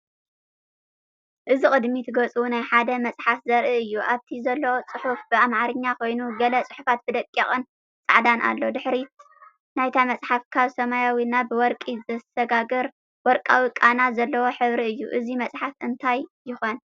እዚ ቅድሚት ገጽ ናይ ሓደ መጽሓፍ ዘርኢ እዩ። ኣብቲ ዘሎ ጽሑፍ ብኣምሓርኛ ኮይኑ፡ ገለ ጽሑፍ ብደቂቕን ጻዕዳን ኣሎ። ድሕሪት ናይታ መጽሓፍ ካብ ሰማያዊ ናብ ወርቂ ዝሰጋገር ወርቃዊ ቃና ዘለዎ ሕብሪ እዩ። እዚ መጽሓፍ እንታይ ይኾን?